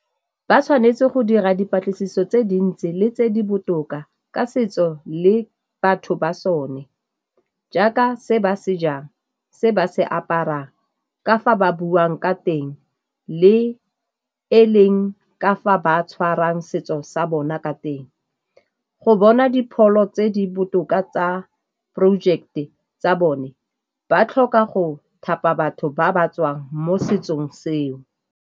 Ba tshwanetse go dira dipatlisiso tse dintsi le tse di botoka ka setso le batho ba sone, jaaka se ba se jang, se ba se aparang, ka fa ba buang ka teng le e leng ka fa ba tshwarang setso sa bona ka teng. Go bona dipholo tse di botoka tsa project-e tsa bone ba tlhoka go thapa batho ba ba tswang mo setsong seo.